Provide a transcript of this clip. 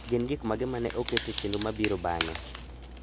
Gin gik mage ma ne oket e chenro mabiro bang'e?